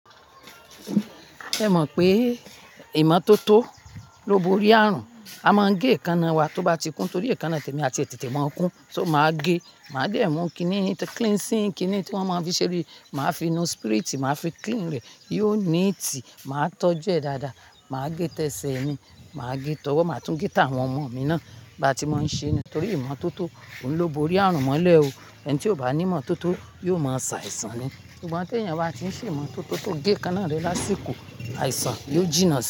Ẹ mọ̀ pé, ìmọ́tótó ló bo orí ààrùn. A máà ń gé èékánná wa tó bá ti kún torí èékánná tẹ̀mí àti ètè tẹ̀ máa ń kún. So màá gé, màá dé mú kiní, cleansing kiní tí wọ́n máa ń fi ṣeré, màá fi nu spirit, màá fi clean rẹ̀, yóò neat, màá tọ́jú ẹ̀ dáadáa, màá gé tẹsẹ̀ mi, màá gé tọ. Owo máa tún gé táwọn ọmọ mi náà bá ti máa ń ṣe ẹ́ ni. Torí ìmọ́tótó òun lo bo orí àrùn mọ́lẹ̀ o. Ẹni tí ò bá ní ìmọ́tótó yóò máa sa àìsàn ni. Ṣùgbọ́n tí èèyàn bá ti ṣe ìmọ́tótó tó gé èékánná rẹ̀ lásìkò, àìsàn yóò jinná si.